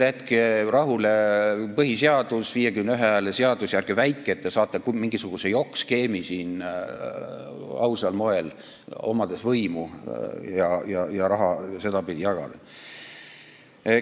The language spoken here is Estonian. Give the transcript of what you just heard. Jätke rahule põhiseadus, 51 hääle seadus ja ärge väitke, et te saate siin ausal moel mingisuguse jokkskeemi, omades võimu, ja saate raha sedapidi jagada!